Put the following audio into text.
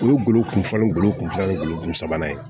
O ye golo kunfɔlɔ golo kunfɔlɔ golo sabanan ye